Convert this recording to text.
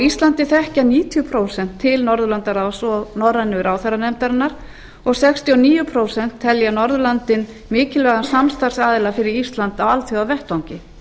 íslandi þekkja níutíu prósent til norðurlandaráðs og norrænu ráðherranefndarinnar og sextíu og níu prósent telja norðurlöndin mikilvægan samstarfsaðila fyrir ísland á alþjóðavettvangi